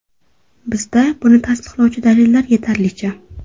Bizda buni tasdiqlovchi dalillar yetarlicha.